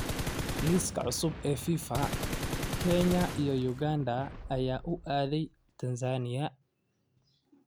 Liiska cusub ee FIFA: Kenya iyo Uganda ayaa u aaday Tansaaniya.